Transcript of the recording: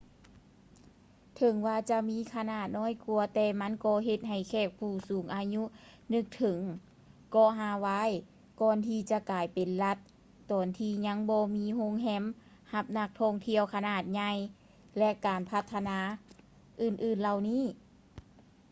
ເຖິງວ່າຈະມີຂະໜາດນ້ອຍກວ່າ ແຕ່ມັນກໍເຮັດໃຫ້ແຂກຜູ້ສູງອາຍຸນຶກເຖິງເກາະຮາວາຍກ່ອນທີ່ຈະກາຍເປັນລັດ ຕອນທີ່ຍັງບໍ່ມີໂຮງແຮມຮັບນັກທ່ອງທ່ຽວຂະໜາດໃຫຍ່ ແລະ ການພັດທະນາອື່ນໆເຫຼົ່ານີ້